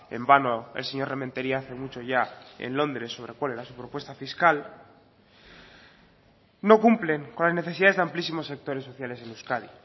en vano el señor rementeria hace mucho ya en londres sobre cuál era su propuesta fiscal no cumplen con las necesidades de amplísimos sectores sociales en euskadi